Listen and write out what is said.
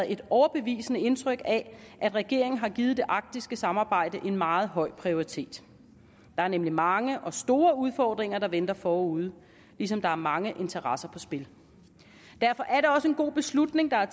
et overbevisende indtryk af at regeringen har givet det arktiske samarbejde en meget høj prioritet der er nemlig mange og store udfordringer der venter forude ligesom der er mange interesser på spil derfor er det også en god beslutning der er